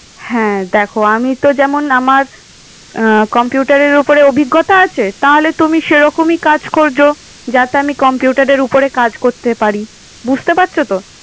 হ্যাঁ, দেখো আমি তো যেমন আমার আহ computer এর ওপরে অভিজ্ঞতা আছে। তাহলে তুমি সেরকমই কাজ করছো। যাতে আমি computer এর উপরে কাজ করতে পারি। বুঝতে পারছো তো?